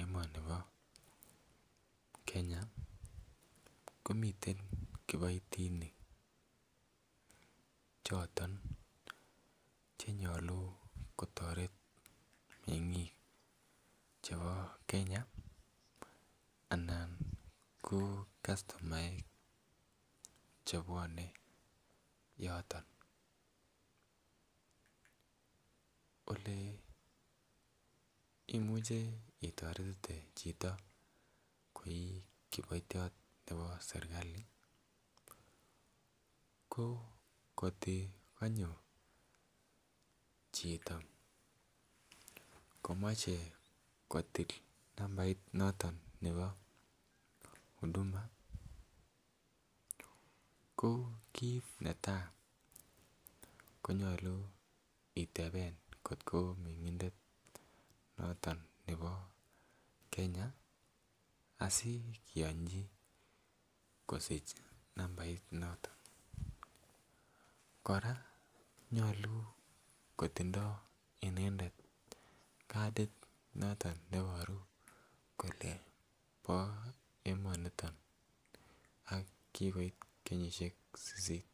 emoni bo Kenya komiten kiboitinik choton chenyolu kotoret mengik chebo Kenya ana ko kastomaek chebwone yoton. Ole imuche itoretite chito ko kiboityot neo sirkali ko kotui konyo chito komoche kotil nambait noton nebo Udhuma ko kit netai konyolu iteben kotko mengindet noton nebo Kenya asikiyonchi kosich nambait noton. Koraa nyolu kotindoi inendet katit noton neboru kole bo emoniton ak kikoit kenyishek sisit.